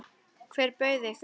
Hver bauð ykkur?